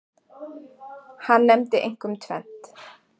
Hann nefndi einkum tvennt.